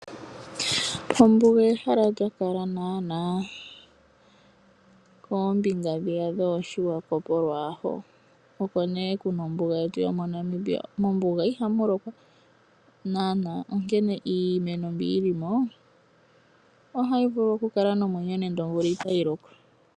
Ombuga ehala lya kala naana koombinga dhiya dhooSwakop lwaho, oko mee kuna ombuga yetu ya Namibia. Mombuga ihamu lokwa naana onkene iimeno mbi yili mo ohayi vulu okukala nomwenyo nande omvula itayi loko.